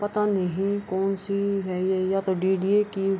पता नहीं ये कोन सी है ये डी.डी.ए. की --